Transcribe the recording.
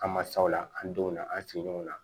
An mansaw la an denw na an sigi ɲɔgɔn na